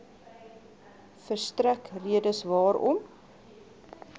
verstrek redes waarom